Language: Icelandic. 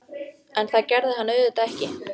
En það gerði hann auðvitað ekki.